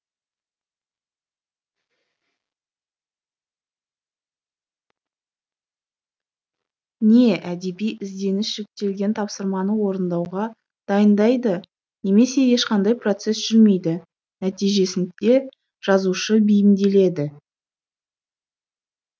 не әдеби ізденіс жүктелген тапсырманы орындауға дайындайды немесе ешқандай процесс жүрмейді нәтижесінде жазушы бейімделеді